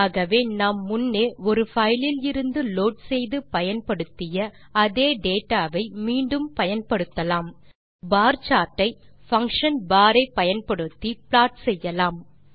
ஆகவே நாம் முன்னே ஒரு பைல் இலிருந்து லோட் செய்து பயன்படுத்திய அதே டேட்டா வை மீண்டும் பயன்படுத்தலாம் நாம் பியே சார்ட் ஐ பங்ஷன் bar ஐ பயன்படுத்தி ப்ளாட் செய்யலாம்